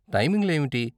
టైమింగ్లు ఏమిటి?